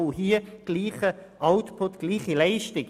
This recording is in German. Auch hier gilt gleicher Output, gleiche Leistung.